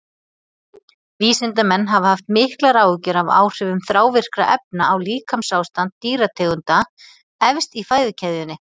Vísindamenn hafa haft miklar áhyggjur af áhrifum þrávirkra efna á líkamsástand dýrategunda efst í fæðukeðjunni.